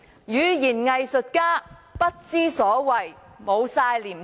語言"偽術家"不知所謂，完全沒有廉耻。